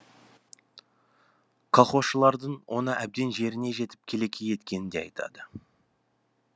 колхозшылардың оны әбден жеріне жетіп келеке еткенін де айтты